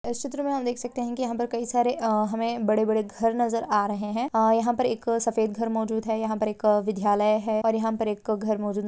इस चित्र मे हम देख सकते है की यहां पर कई सारे हमे बड़े-बड़े घर नजर आ रहे है यहां पर एक सफेद घर मौजूद है यहां पर एक विधयालय है और यहां पर एक घर---